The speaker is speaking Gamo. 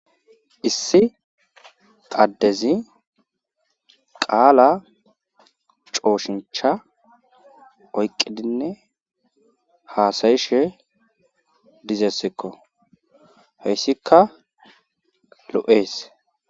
Issi addezi qaalaa cooshincha oyqqidinne haasayishe dezeysikko heysikka lo7ees.